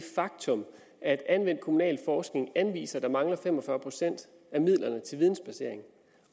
faktum at anvendt kommunalforskning anviser at der mangler fem og fyrre procent af midlerne til vidensbasering